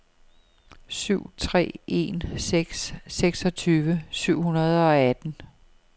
syv tre en seks seksogtyve syv hundrede og atten